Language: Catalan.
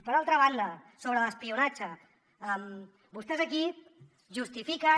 per altra banda sobre l’espionatge vostès aquí justifiquen